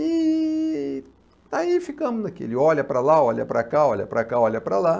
E... aí ficamos naquele, olha para lá, olha para cá, olha para cá, olha para lá.